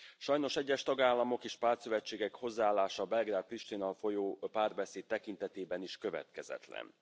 Sajnos egyes tagállamok és pártszövetségek hozzáállása a Belgrád Pristina folyó párbeszéd tekintetében is következetlen.